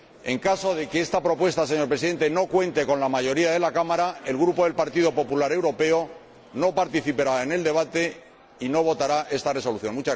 En caso de que esta propuesta, señor Presidente, no cuente con la mayoría de la Cámara, el Grupo del Partido Popular Europeo no participará en el debate y no votará la Resolución.